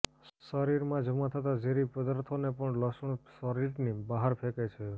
શરીરમાં જમા થતા ઝેરી પદાર્થોને પણ લસણ શરીરની બહાર ફેંકે છે